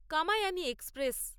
Kamayani express